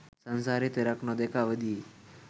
සංසාරයේ තෙරක් නොදැක ඇවිදියි.